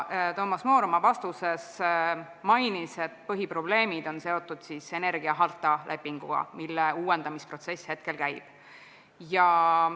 Toomas Moor oma vastuses mainis, et põhiprobleemid on seotud energiaharta lepinguga, mille uuendamisprotsess käib.